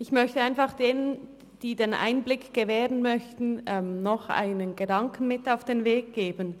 Ich möchte einfach denen, die den Einblick gewähren möchten, noch einen Gedanken mit auf den Weg geben: